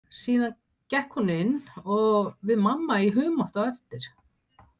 Síðan gekk hún inn og við mamma í humátt á eftir.